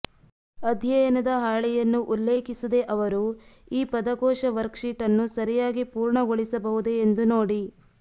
ಅಧ್ಯಯನದ ಹಾಳೆಯನ್ನು ಉಲ್ಲೇಖಿಸದೆ ಅವರು ಈ ಪದಕೋಶ ವರ್ಕ್ಶೀಟ್ ಅನ್ನು ಸರಿಯಾಗಿ ಪೂರ್ಣಗೊಳಿಸಬಹುದೇ ಎಂದು ನೋಡಿ